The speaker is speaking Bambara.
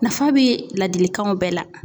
Nafa be ladilikanw bɛɛ la.